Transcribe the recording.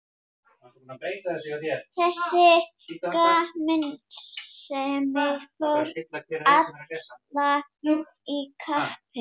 Þessi gamansemi fór illa í kappann.